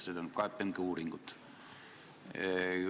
See on KPMG uuring.